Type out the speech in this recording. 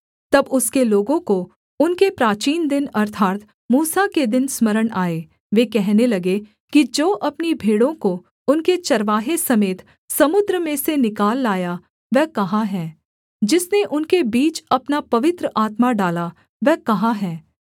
तब उसके लोगों को उनके प्राचीन दिन अर्थात् मूसा के दिन स्मरण आए वे कहने लगे कि जो अपनी भेड़ों को उनके चरवाहे समेत समुद्र में से निकाल लाया वह कहाँ है जिसने उनके बीच अपना पवित्र आत्मा डाला वह कहाँ है